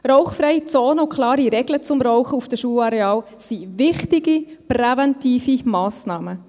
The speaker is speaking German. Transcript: Rauchfreie Zonen und klare Regeln zum Rauchen auf den Schularealen sind wichtige präventive Massnahmen.